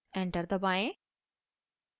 enter दबाएं